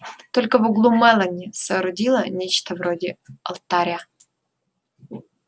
только в углу мелани соорудила нечто вроде алтаря